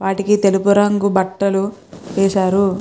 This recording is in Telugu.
వాటికీ తెల్లుపు రంగు బట్టలు వేసారు.